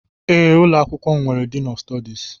Ee ụlọ akwụkwọ m nwere Diin ọf Stọdis